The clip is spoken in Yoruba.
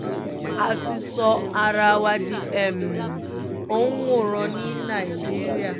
a ti sọ ara wa di òǹwòran ní nàìjíríà